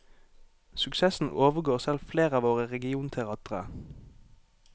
Suksessen overgår selv flere av våre regionteatre.